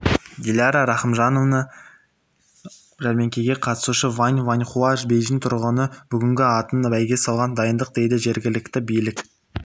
диляра рахымжанова жәрмеңкеге қатысушы вань ваньхуа бейжің тұрғыны бүгінгі атан бәйге соған дайындық дейді жергілікті билік